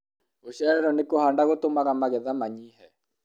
gũcererwo nĩ kũhanda gũtũmaga magetha manyihe